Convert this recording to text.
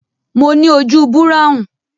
mọ ní ojú Búráhùn